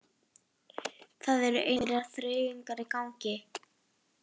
Það eru einhverjar þreifingar í gangi